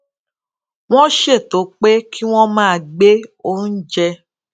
wón ṣètò pé kí wón máa gbé oúnjẹ